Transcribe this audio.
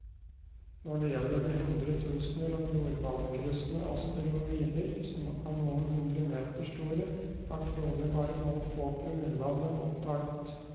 Når det gjelder de hundretusener av jordbanekryssende asteroider som er noen hundre meter store, er trolig bare noen få promille av dem oppdaget.